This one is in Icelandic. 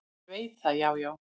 """Ég veit það, já, já."""